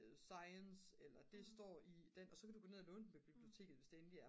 science eller det står i den og så kan du gå ned at låne den på biblioteket hvis det endelig er